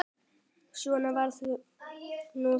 Svona var nú það.